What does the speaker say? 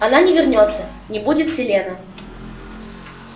она не вернётся не будет селена